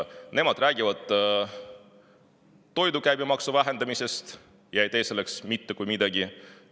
Nad räägivad toidu käibemaksu vähendamisest, aga ei tee selleks mitte kui midagi.